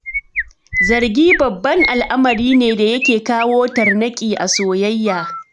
Zargi babban al'amari ne da yake kawo tarnaƙi a soyayya.